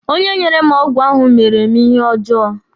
Onye nyere m ọgwụ ahụ mere mụ ihe ọjọọ.